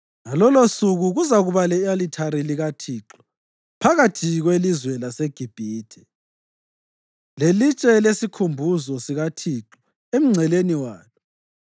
Ngalolosuku kuzakuba le-alithari likaThixo phakathi kwelizwe laseGibhithe, lelitshe lesikhumbuzo sikaThixo emngceleni walo.